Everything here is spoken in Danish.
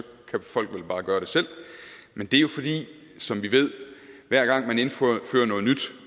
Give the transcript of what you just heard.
kan folk vel bare gøre det selv men det er jo fordi som vi ved at hver gang man indfører noget nyt